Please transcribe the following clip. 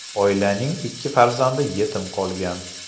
Oilaning ikki farzandi yetim qolgan.